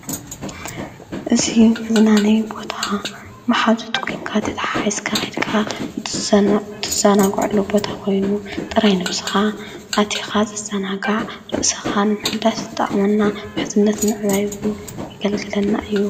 እዚ መዝናነይ ቦታ መሓዙት ኮይንካ ተተሓሒዝካ ከይድካ ትዘናገዐሉ ቦታ ኮይኑ፤ ጥራይ ነብስኻ አቲኻ ትዘናጋዕ ርእስኻ ንምሕዳስ ዝጠቕመና ምሕዝነት ንምዕባይ እውን የገልግለና እዩ።